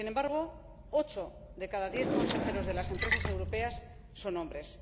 Sin embargo, ocho de cada diez consejeros de las empresas europeas son hombres.